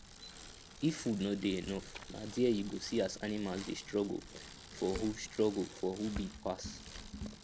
if food no dey enough na there you go see as animals dey struggle for who struggle for who big pass